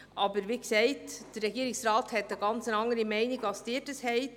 Aber, wie gesagt: Der Regierungsrat vertritt eine ganz andere Meinung als die Ihre.